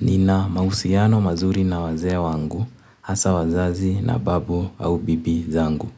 Nina mahusiano mazuri na wazee wangu, hasa wazazi na babu au bibi zangu.